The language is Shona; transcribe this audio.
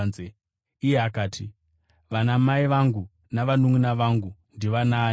Iye akati, “Vanamai vangu navanunʼuna vangu ndivanaaniko?”